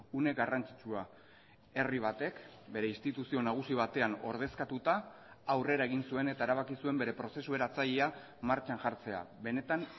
une garrantzitsua herri batek bere instituzio nagusi batean ordezkatuta aurrera egin zuen eta erabaki zuen bere prozesu eratzailea martxan jartzea benetan